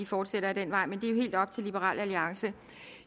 fortsætter ad den vej men det er jo helt op til liberal alliance